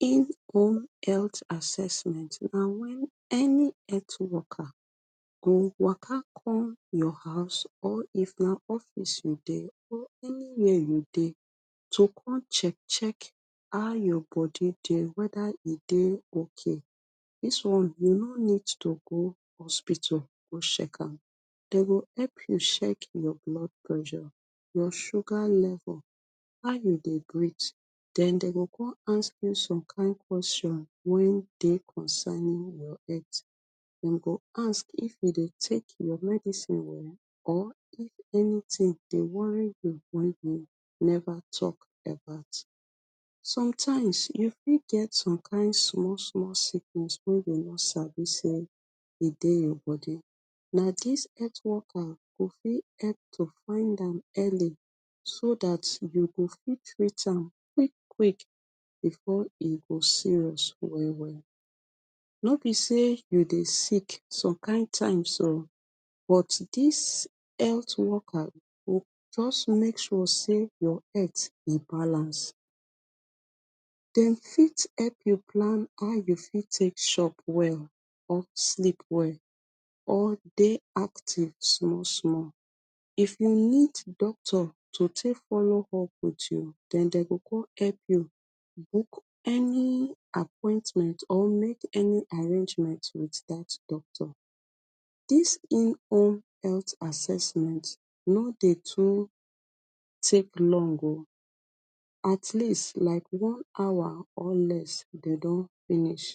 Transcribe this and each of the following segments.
inborn health assessment na wen any earth worker go waka come your house or if na office you dey or anywhere you dey to come check check how your bodi dey wether e ok dis one dey no need to go hospital go sheck am dey go help you sheck your blood pressure, your sugar level, how you dey breath den dey go come ask you some kind question wen dey concerning your earth dem go ask if you dey take your medicine o or if anytin dey worry you wen e never talk about sometimes you fit get some kind small small sickness wen you no go sabi say e dey your body na dis earth worker go fit help to find am early so dat you go fit treat am quick quick before e go serious well well no be say you dey sick some kind times o but dis health worker go just make sure say your earth e balance dem fit help you plan how you fit take chop well or sleep well or dey active small small if you need doctor to take follow up wit you den dem go come help you book any appointment or make any arrangement wit dat doctor this in health assessment no dey too take long o atleast like one hour or less dey done finish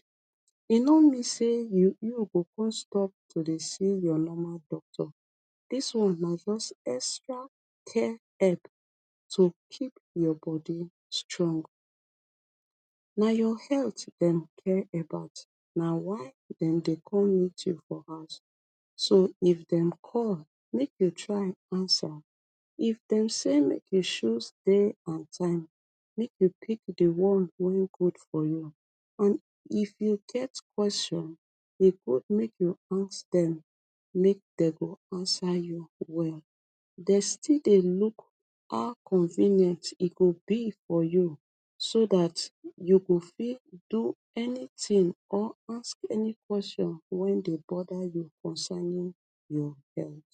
e no mean say you you go come stop to dey see your normal doctor dis one na just extra care help to keep your body strong na your health dem care about na why dem dey come meet you for house so if dem call make you try answer eif dem say make you shoose day and time make you pick di one way good for you and if you get question e good make you ask dem make dem go answer you well dey still dey look how convenient e go be for you so dat you go fit do anything or ask any question way dey bother you concerning your health.